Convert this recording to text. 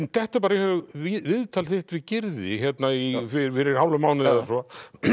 dettur bara í hug viðtal þitt við Gyrði fyrir hálfum mánuði eða svo